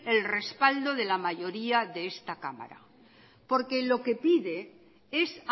el respaldo de la mayoría de esta cámara por que lo que pide es